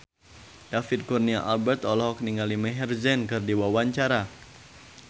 David Kurnia Albert olohok ningali Maher Zein keur diwawancara